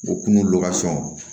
O kun